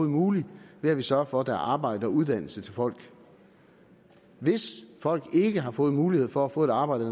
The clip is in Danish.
muligt ved at vi sørger for at der er arbejde og uddannelse til folk hvis folk ikke har fået mulighed for at få et arbejde